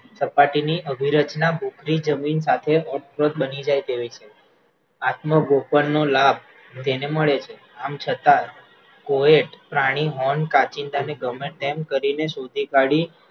સપાટીની અભીરચના જમીન પાસે બની જાય તેવી છે આતમગોપનનો લાભ તેને મળે છે આમ છતાં કોઈ પ્રાણી કાંચીના ને ગમે તેમ કરીને શોધી કાઢી